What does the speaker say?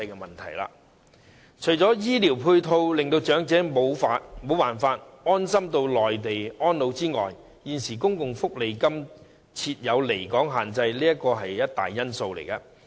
除醫療配套令長者無法安心在內地安老外，公共福利金計劃下的現行離港限制亦是一大因素。